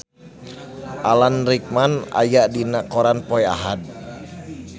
Alan Rickman aya dina koran poe Ahad